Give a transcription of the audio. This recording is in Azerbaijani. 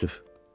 Təəssüf.